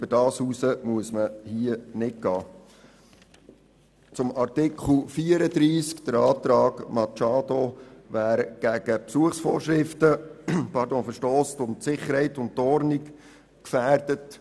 Wir finden es falsch, dass – wie es der Antrag Machado zu Artikel 34 fordert – jemand zuerst verwarnt werden muss, wenn er gegen die Besuchsvorschriften verstösst und Sicherheit und Ordnung gefährdet.